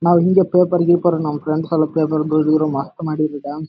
ನಾವು ಹಿಂಗೆ ಪೇಪರ್‌ ಗೀಪರ್‌ ನಮ್‌ ಫ್ರೆಂಡ್ಸ್‌ ಎಲ್ಲ ಪೇಪರ್‌ ಮಾಡಿದಿರ.